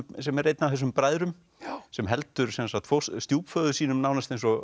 sem er einn af þessum bræðrum sem heldur stjúpföður sínum nánast eins og